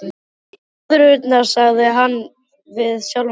Nöðrurnar, sagði hann við sjálfan sig.